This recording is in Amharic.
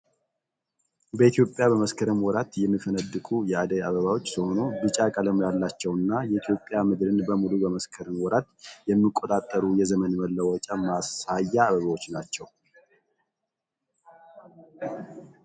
በኢትዮጵያ በመስከረም ወራት የሚፈነድቁ የአደይ አበባዎች ሲሆኑ ቢጫ ቀለም ያላቸውና የኢትዮጵያ ምድርን በሙሉ በመስከረም ወራት የሚቆጣጠሩ የዘመን መለወጫ ማሳያ አበቦች ናቸው።